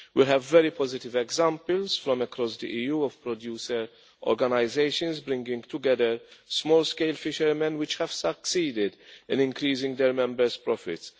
We have very positive examples from across the EU of producer organisations bringing together small scale fishermen which have succeeded in increasing their members' profits.